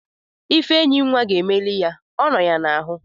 Ifenyinwa ga-emeli ya. Ọ nọ ya n'ahu